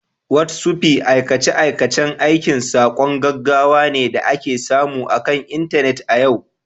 Whotsupi aikace-aikacen aika saƙon gaggawa ne da ake samu akan Intanet a yau